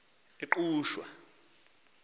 engqushwa